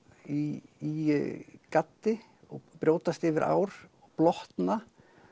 í gaddi og brjótast yfir ár blotna